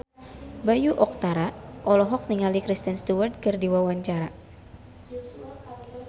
Bayu Octara olohok ningali Kristen Stewart keur diwawancara